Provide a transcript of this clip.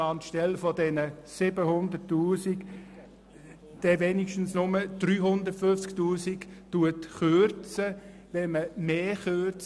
Anstelle der 700 000 Franken würde so zumindest nur um 350 000 Franken gekürzt.